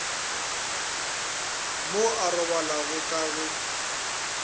mo a robalago ka ge